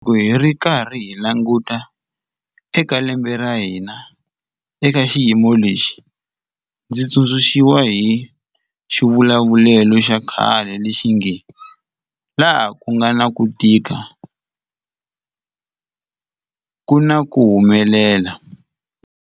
Loko hi karhi hi languta eka lembe ra hina eka xiyimo lexi, ndzi tsundzu xiwa hi xivulavulelo xa khale lexi nge laha ku nga na ku tika ku na ku humelela.